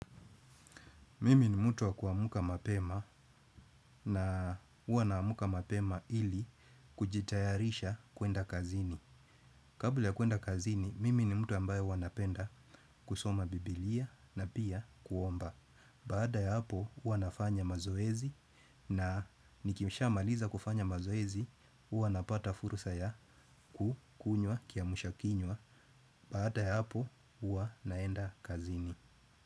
Mimi ni mtu wa kuamka mapema na huwa naamka mapema ili kujitayarisha kuenda kazini. Kabla ya kuenda kazini, mimi ni mtu ambaye huwa napenda kusoma bibilia na pia kuomba. Baada ya hapo, huwa nafanya mazoezi na nikishamaliza kufanya mazoezi, huwa napata fursa ya kukunywa kiamsha kinywa. Baada ya hapo, uwa naenda kazini.